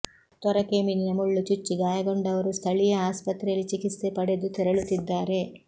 ತೊರಕೆ ಮೀನಿನ ಮುಳ್ಳು ಚುಚ್ಚಿ ಗಾಯಗೊಂಡವರು ಸ್ಥಳೀಯ ಆಸ್ಪತ್ರೆ ಯಲ್ಲಿ ಚಿಕಿತ್ಸೆ ಪಡೆದು ತೆರಳುತ್ತಿದ್ದಾರೆ